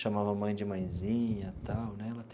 chamava a mãe de mãezinha tal né.